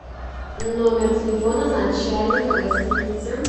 номер телефона начальника гостиницы